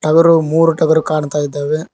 ಟಗರು ಮೂರು ಟಗರು ಕಾಣ್ತಾ ಇದ್ದಾವೆ.